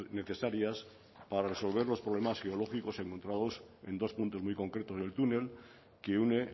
necesarias para resolver los problemas geológicos encontrados en dos puntos muy concretos del túnel que une